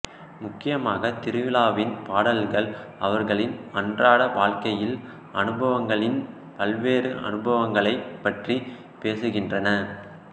முக்கியமாக திருவிழாவின் பாடல்கள் அவர்களின் அன்றாட வாழ்க்கையில் அனுபவங்களின் பல்வேறு அனுபவங்களைப் பற்றி பேசுகின்றன